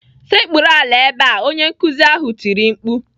"sekpuru ala ebe a!" Onye nkuzi ahụ tiri mkpu.